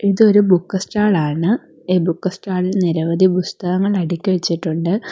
ഇതൊരു book stall ആണ് ഈ ബുക്ക് സ്റ്റാളിൽ നിരവധി പുസ്തകങ്ങൾ അടുക്കി വെച്ചിട്ടുണ്ട്.